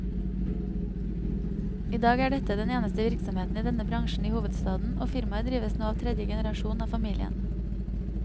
I dag er dette den eneste virksomheten i denne bransjen i hovedstaden, og firmaet drives nå av tredje generasjon av familien.